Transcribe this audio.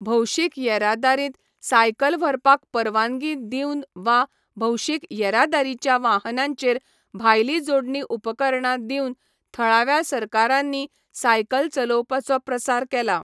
भौशीक येरादारींत सायकल व्हरपाक परवानगी दिवन वा भौशीक येरादारीच्या वाहनांचेर भायली जोडणी उपकरणां दिवन थळाव्या सरकारांनी सायकल चलोवपाचो प्रसार केला.